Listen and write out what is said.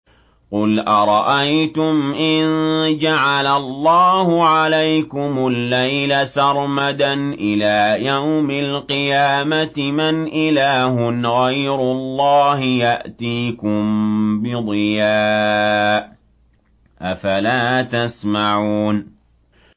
قُلْ أَرَأَيْتُمْ إِن جَعَلَ اللَّهُ عَلَيْكُمُ اللَّيْلَ سَرْمَدًا إِلَىٰ يَوْمِ الْقِيَامَةِ مَنْ إِلَٰهٌ غَيْرُ اللَّهِ يَأْتِيكُم بِضِيَاءٍ ۖ أَفَلَا تَسْمَعُونَ